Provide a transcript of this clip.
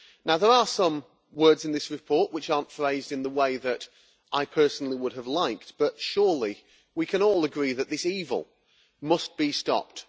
There are some words in this report which are not phrased in the way that I personally would have liked, but surely we can all agree that this evil must be stopped.